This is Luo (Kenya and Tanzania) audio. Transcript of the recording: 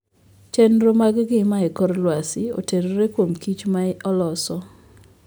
Chenro mag ngima e kor lwasi otenore kuom kich ma oloso.